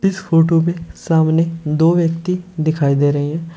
इस फोटो में सामने दो व्यक्ति दिखाई दे रहे हैं।